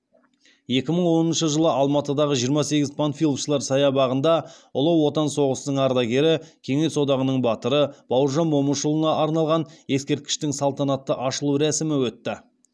екі мың оныншы жылы алматыдағы жиырма сегіз панфиловшылар саябағында ұлы отан соғысының ардагері кеңес одағының батыры бауыржан момышұлына арналған ескерткіштің салтанатты ашылу рәсімі өтті